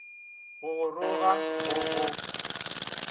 go go roga go go